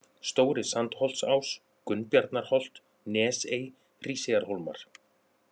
Stóri-Sandholtsás, Gunnbjarnarholt, Nesey, Hríseyjarhólmar